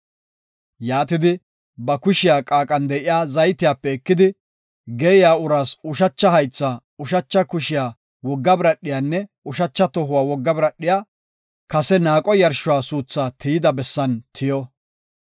Yaatidi, ba kushiya qaaqan de7iya zaytiyape ekidi, geeyiya uraas ushacha haytha, ushacha kushiya wogga biradhiyanne ushacha tohuwa wogga biradhiya kase naaqo yarshuwa suuthaa tiyida bessan tiyo.